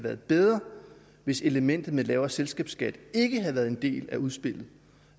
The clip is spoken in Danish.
været bedre hvis elementet med en lavere selskabsskat ikke havde været en del af udspillet